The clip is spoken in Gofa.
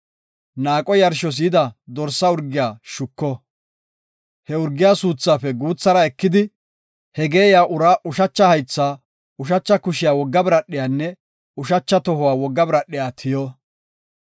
Naaqo yarshos yida dorsa urgiya shuko; He urgiya suuthaafe guuthara ekidi, ha geeyiya uraa ushacha haytha, ushacha kushiya wogga biradhiyanne ushacha tohuwa wogga biradhiya tiyo.